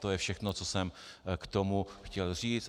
To je všechno, co jsem k tomu chtěl říct.